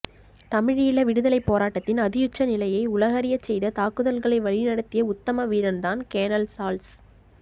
தமிழீழ விடுதலைப் போராட்டத்தின் அதியுச்ச நிலையை உலகறியச் செய்த தாக்குதல்களை வழிநடத்திய உத்தம வீரன் தான் கேணல் சாள்ஸ்